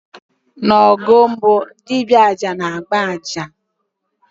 N' ọgọọ mmụọ, dibịa aja na-agba aja